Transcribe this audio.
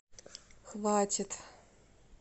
хватит